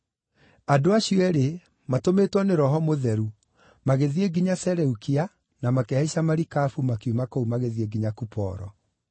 Andũ acio eerĩ, matũmĩtwo nĩ Roho Mũtheru, magĩthiĩ nginya Seleukia na makĩhaica marikabu makiuma kũu magĩthiĩ nginya Kuporo.